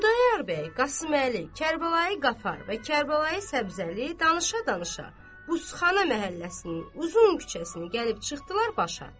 Xudayar bəy, Qasıməli, Kərbəlayi Qafar və Kərbəlayi Səbzəli danışa-danışa Buzxana məhəlləsinin uzun küçəsini gəlib çıxdılar başa.